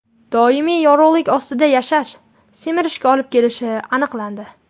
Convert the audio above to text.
Doimiy yorug‘lik ostida yashash semirishga olib kelishi aniqlandi.